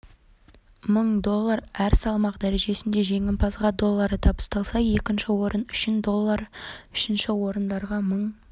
мың доллар әр салмақ дәрежесінде жеңімпазға доллары табысталса екінші орын үшін доллар үшінші орындарға мың